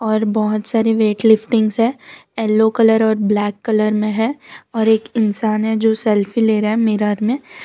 और बहोत सारी वेट लिफ्टिंग्स है येलो कलर और ब्लैक कलर में है और एक इंसान है जो सेल्फी ले रहा है मीरर में --